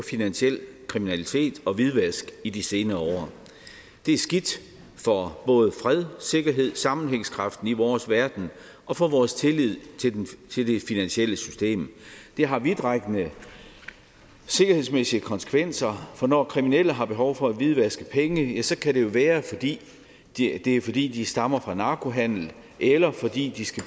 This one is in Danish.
finansiel kriminalitet og hvidvask i de senere år det er skidt for både fred sikkerhed sammenhængskraften i vores verden og for vores tillid til det finansielle system det har vidtrækkende sikkerhedsmæssige konsekvenser for når kriminelle har behov for at hvidvaske penge ja så kan det jo være det er fordi de stammer fra narkohandel eller fordi de skal